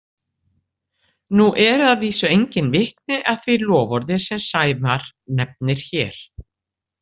Nú eru að vísu engin vitni að því loforði sem Sævar nefnir hér.